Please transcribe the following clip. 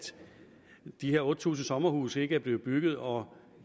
de her otte tusind sommerhuse ikke er blevet bygget og